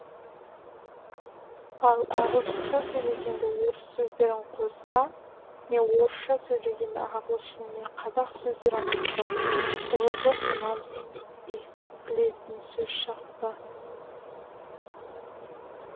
ал ағылшынша сөйлегенде орыс сөздерін қосса не орысша сөйлегенде ағылшын не қазақ сөздерін қосса құбыжық ұнамсыз естілетін сөз шығады